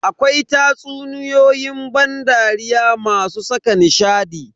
Akwai tatsuniyoyin ban dariya masu saka nishadi.